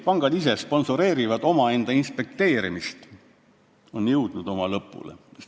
... pangad ise sponsoreerivad omaenda inspekteerimist, on jõudnud lõpule.